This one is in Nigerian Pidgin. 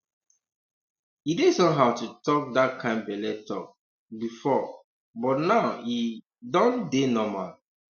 e dey somehow to talk that kind belle talk um before um but now e um don dey normal